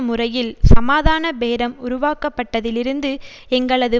முறையில் சமாதான பேரம் உருவாக்கப்பட்டதிலிருந்து எங்களது